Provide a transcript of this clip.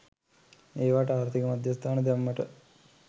ඒවාට ආර්ථික මධ්‍යස්ථාන දැම්මට